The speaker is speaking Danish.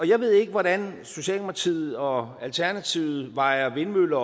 jeg ved ikke hvordan socialdemokratiet og alternativet vejer vindmøller